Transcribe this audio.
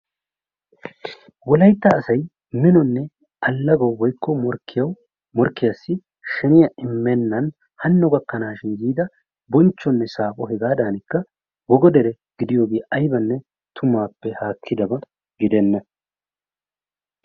Wolaytta asay minonne allagawu woykko morkkiyassi sheniya immennan hanno gakkanaashin yiida bonchchonne saaphpho hegaadanikka wogo dere gidiyogee aybanne tumaappe haakkidaba gidenna.